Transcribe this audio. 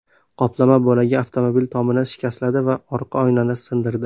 Qoplama bo‘lagi avtomobil tomini shikastladi va orqa oynani sindirdi.